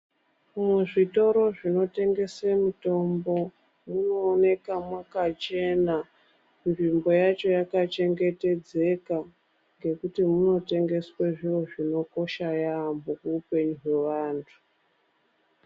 Muzvitoro munotengeswa mitombo munooneka mwakachena tsvimbo yacho yakachengetedzeka ngekuti motengeswa zviro zvinokosha yaamho muupenyu hwaantu .